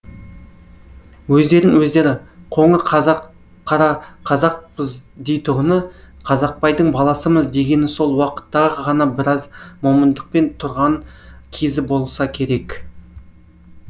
өздерін өздері қоңыр қазақ қарақазақпыз дейтұғыны қазақбайдың баласымыз дегені сол уақыттағы ғана біраз момындықпен тұрған кез